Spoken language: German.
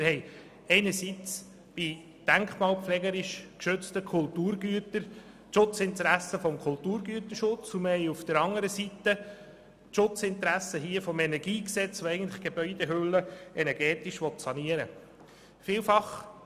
Einerseits bestehen bei denkmalpflegerisch geschützten Kulturgütern die Schutzinteressen des Kulturgüterschutzes, anderseits die Schutzinteressen des KEnG, die Gebäudehülle energetisch sanieren zu wollen.